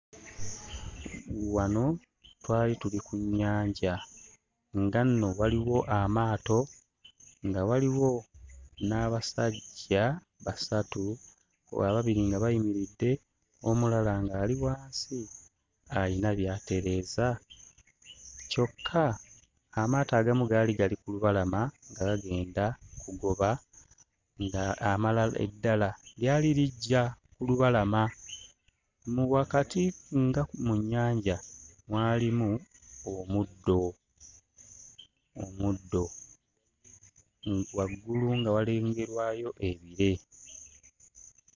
Wano twali tuli ku nnyanja nga nno waliwo amaato nga waliwo n'abasajja basatu wa ababiri nga bayimiridde omulala ng'ali wansi ayina by'atereeza, kyokka amaato agamu gaali gali ku lubalama nga gagenda kugoba nga amala eddala lyali lijja ku lubalama nno wakati nga mu nnyanja mwalimu omuddo omuddo mm waggulu nga walengerwayo ebire.